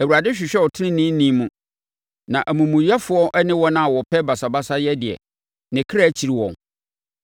Awurade hwehwɛ ɔteneneeni mu, na amumuyɛfoɔ ne wɔn a wɔpɛ basabasayɛ deɛ, ne kra kyiri wɔn.